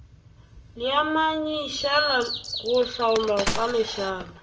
leamanyišala go hlaolwa ka lešala